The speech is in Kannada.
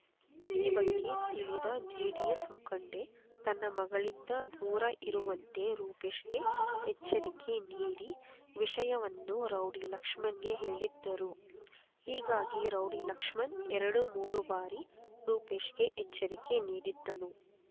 ಈ ಬಗ್ಗೆ ತಿಳಿದ ಜೆಡಿಎಸ್ ಮುಖಂಡೆ ತನ್ನ ಮಗಳಿಂದ ದೂರ ಇರುವಂತೆ ರೂಪೇಶ್‌ಗೆ ಎಚ್ಚರಿಕೆ ನೀಡಿ ವಿಷಯವನ್ನು ರೌಡಿ ಲಕ್ಷ್ಮಣ್‌ಗೆ ಹೇಳಿದ್ದರು ಹೀಗಾಗಿ ರೌಡಿ ಲಕ್ಷ್ಮಣ್ ಎರಡುಮೂರು ಬಾರಿ ರೂಪೇಶ್‌ಗೆ ಎಚ್ಚರಿಕೆ ನೀಡಿದ್ದನು